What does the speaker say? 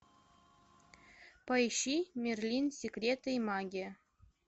поищи мерлин секреты и магия